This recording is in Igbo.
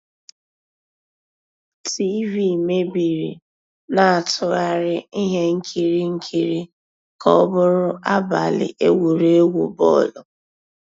TV meébìrí, ná-àtụ́ghàrị́ íhé nkírí nkírí ká ọ́ bụ́rụ́ àbàlí égwurégwu bọ́ọ̀lụ́.